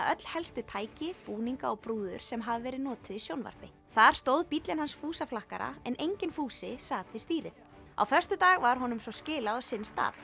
öll helstu tæki búninga og brúður sem hafa verið notuð í sjónvarpi þar stóð bíllinn hans fúsa flakkara en enginn Fúsi sat við stýrið á föstudag var honum svo skilað á sinn stað